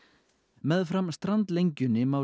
meðfram strandlengjunni má